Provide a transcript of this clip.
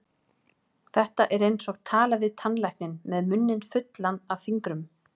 Þetta er eins og tala við tannlækninn með munninn fullan af fingrum.